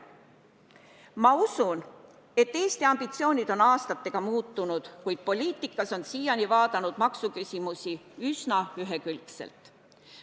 Ma usun, et Eesti ambitsioonid aastatega muutunud, kuid poliitikas on siiani vaadatud maksuküsimusi üsna ühekülgselt.